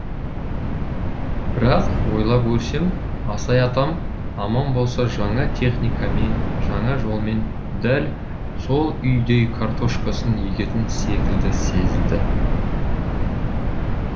бірақ ойлап көрсем асай атам аман болса жаңа техникамен жаңа жолмен дәл сол үйдей картошкасын егетін секілді сезілді